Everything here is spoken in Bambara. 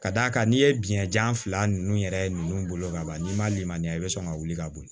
Ka d'a kan n'i ye biyɛnjan fila ninnu yɛrɛ ninnu bolo ka ban n'i ma limaniya i bɛ sɔn ka wuli ka bo yen